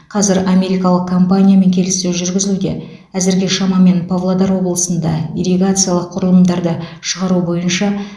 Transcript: қазір америкалық компаниямен келіссөз жүргізілуде әзірге шамамен павлодар облысында ирригациялық құрылымдарды шығару бойынша